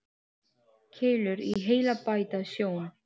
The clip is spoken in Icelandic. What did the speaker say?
Keilur í heila bæta sjón.